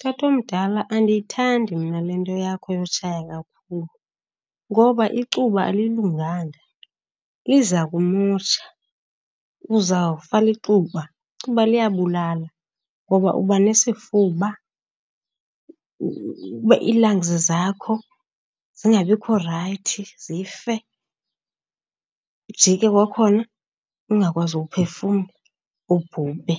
Tatomdala, andiyithandi mna le nto yakho yotshaya kakhulu ngoba icuba alilunganga. Liza kumosha, uzawufa licuba. Icuba liyabulala. Ngoba uba nesifuba, ii-lungs zakho zingabikho right zife, ujike kwakhona ungakwazi uphefumla ubhubhe.